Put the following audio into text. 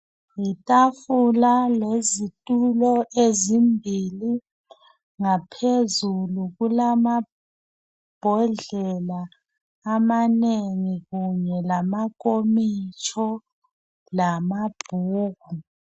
Yitafula lezitulo ezimbili .Ngaphezulu kulamambodlela amanengi kumbe lama nkomotsho lamabhuku.